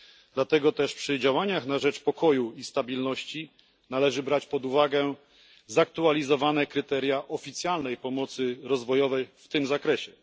Dlatego też przy działaniach na rzecz pokoju i stabilności należy brać pod uwagę zaktualizowane kryteria oficjalnej pomocy rozwojowej w tym zakresie.